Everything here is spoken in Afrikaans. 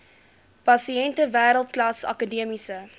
pasiënte wêreldklas akademiese